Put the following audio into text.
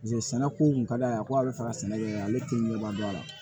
sɛnɛko kun ka d'a ye ko a bɛ fɛ ka sɛnɛ kɛ ale tɛ ɲɛbɔ a la